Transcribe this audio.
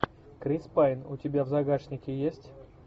крис пайн у тебя в загашнике есть